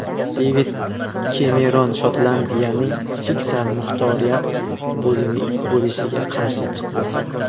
Devid Kemeron Shotlandiyaning fiskal muxtoriyat bo‘lishiga qarshi chiqdi.